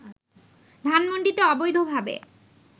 ধানমণ্ডিতে অবৈধভাবে